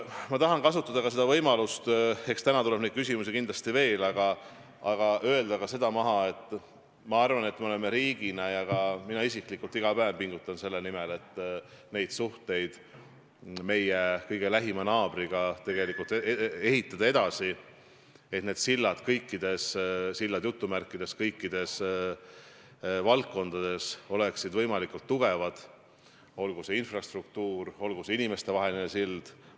Ma tahan kasutada võimalust – eks täna tuleb neid küsimusi kindlasti veel – öelda ka seda, et me riigina pingutame ja ka mina isiklikult iga päev pingutan selle nimel, et suhteid meie kõige lähema naabriga edasi ehitada, et "sillad" kõikides valdkondades oleksid võimalikult tugevad, olgu see siis infrastruktuur või olgu see inimestevaheline sild.